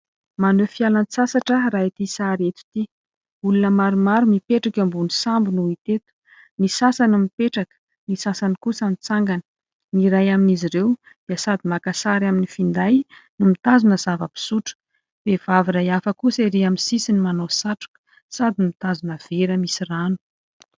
Maneho fialan- tsasatra raha ity sary eto ity. Olona maromaro, mipetraka ambony sambo no hita eto : ny sasany mipetraka, ny sasany kosa mitsangana, ny iray amin'izy ireo dia sady maka sary amin'ny finday no mitazona zava-pisotro ; vehivavy iray hafa kosa ery amin' ny sisiny, manao satroka sady mitazona vera misy rano.